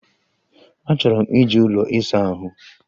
Achọrọ m iji ụlọ ịsa ahụ.